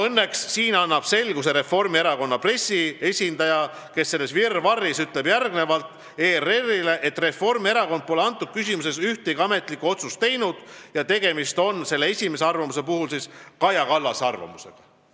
Õnneks andis siin selguse Reformierakonna pressiesindaja, kes ütles selles virvarris ERR-ile, et Reformierakond pole selles küsimuses ühtegi ametlikku otsust teinud ja esimesel juhul oli tegemist Kaja Kallase arvamusega.